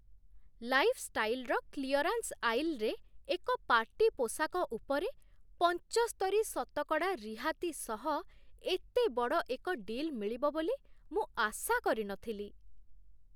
ଲାଇଫ୍‌ଷ୍ଟାଇଲ୍‌ର clearance ଆଇଲ୍‌ରେ, ଏକ party ପୋଷାକ ଉପରେ ପଞ୍ଚସ୍ତରୀ ଶତକଡ଼ା ରିହାତି ସହ ଏତେ ବଡ଼ ଏକ ଡିଲ୍ ମିଳିବ ବୋଲି ମୁଁ ଆଶା କରି ନଥିଲି।